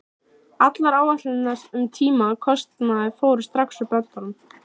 Allar áætlanir um tíma og kostnað fóru strax úr böndum.